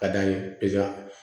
Ka d'an ye pezeli